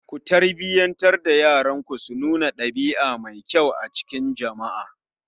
Ku tarbiyyantar da yaranku su nuna ɗabia mai kyau a cikin jama'a